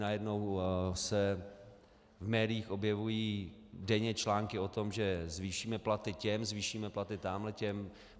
Najednou se v médiích objevují denně články o tom, že zvýšíme platy těm, zvýšíme platy tam těm.